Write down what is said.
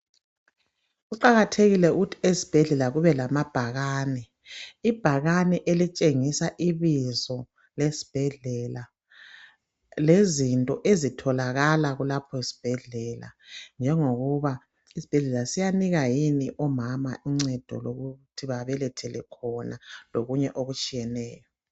Kuqakathekile ukuthi ezibhedlela kube lebhakane, ibhakane elitshengisa ibizo lesibhedlela lezinto ezitholakala kulapho sibhedlela njengokuba isibhedlela siyanika yini omama uncedo lokuthi bebelethele khona lokunye okutshiyeneyo.